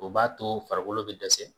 O b'a to farikolo bɛidɛsɛ.